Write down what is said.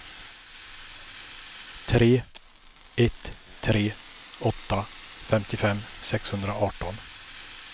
tre ett tre åtta femtiofem sexhundraarton